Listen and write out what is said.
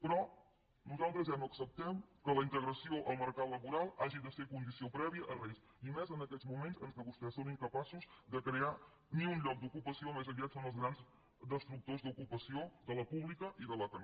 però nosaltres ja no acceptem que la integració al mercat laboral hagi de ser condició prèvia a res i més en aquests moments en què vostès són incapaços de crear ni un lloc d’ocupació més aviat són els grans destructors d’ocupació de la pública i de la que no